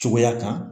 Cogoya kan